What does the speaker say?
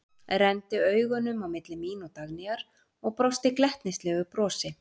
Renndi augunum á milli mín og Dagnýjar og brosti glettnislegu brosi.